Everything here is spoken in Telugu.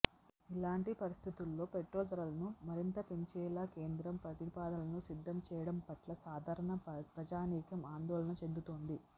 ఇలాంటి పరిస్థితుల్లో పెట్రోల్ ధరలను మరింత పెంచేలా కేంద్రం ప్రతిపాదనలు సిద్ధం చేయడం పట్ల సాధారణ ప్రజానీకం ఆందోళన చెందుతోంది